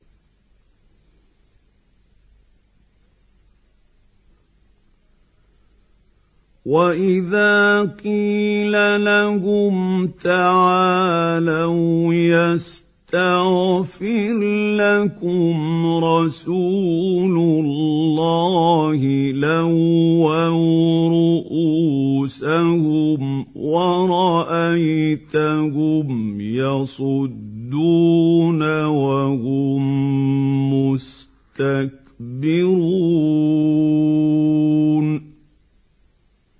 وَإِذَا قِيلَ لَهُمْ تَعَالَوْا يَسْتَغْفِرْ لَكُمْ رَسُولُ اللَّهِ لَوَّوْا رُءُوسَهُمْ وَرَأَيْتَهُمْ يَصُدُّونَ وَهُم مُّسْتَكْبِرُونَ